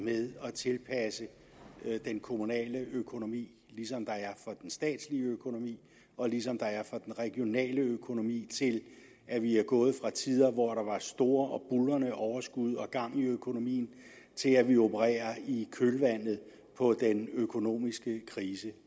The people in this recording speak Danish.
med at tilpasse den kommunale økonomi ligesom der er for den statslige økonomi og ligesom der er for den regionale økonomi til at vi er gået fra tider hvor der var store og buldrende overskud og gang i økonomien til at vi opererer i kølvandet på den økonomiske krise